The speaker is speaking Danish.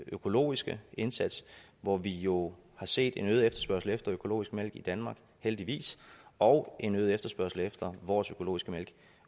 økologiske indsats hvor vi jo har set en øget efterspørgsel efter økologisk mælk i danmark heldigvis og en øget efterspørgsel efter vores økologiske mælk